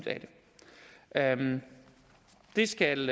af det det skal